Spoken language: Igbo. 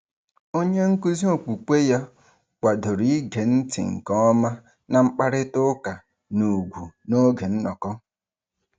Onyenkụzi okwukwe ya kwadoro ige ntị nke ọma na mkparịtaụka n'ùgwù n'oge nnọkọ.